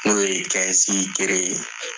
N'o ye kelen ye